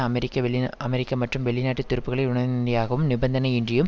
அமெரிக்க வெளி அமெரிக்க மற்றும் வெளிநாட்டு துருப்புக்களை உடனடியாகவும் நிபந்தனையின்றியும்